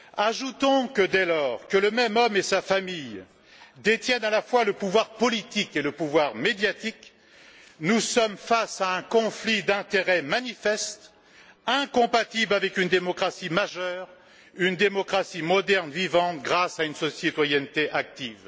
Ajoutons que, dès lors que le même homme et sa famille détiennent à la fois le pouvoir politique et le pouvoir médiatique, nous sommes face à un conflit d'intérêts manifeste incompatible avec une démocratie majeure, une démocratie moderne, vivante, grâce à une citoyenneté active.